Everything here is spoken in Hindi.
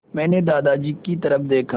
मैंने दादाजी की तरफ़ देखा